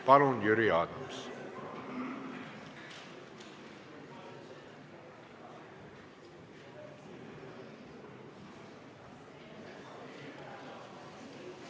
Palun, Jüri Adams!